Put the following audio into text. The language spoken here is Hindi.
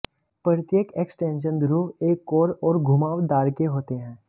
प्रत्येक एक्सटेंशन ध्रुव एक कोर और घुमावदार के होते हैं